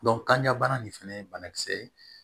kanjabana nin fɛnɛ ye banakisɛ ye